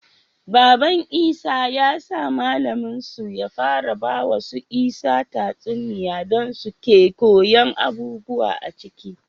Baban isa ya sa mallamin su ya fara bawa su isa tatsuniya dan suke koyan abubuwa aciki